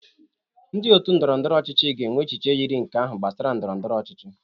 Ndị otu ndọrọ ndọrọ ọchịchị ga-enwe echiche yiri nke ahụ gbasara ndọrọ ndọrọ ọchịchị